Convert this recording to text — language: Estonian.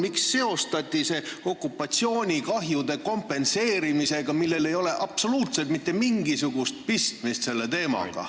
Miks seostati see okupatsioonikahjude kompenseerimisega, millel ei ole selle teemaga absoluutselt mitte mingisugust pistmist?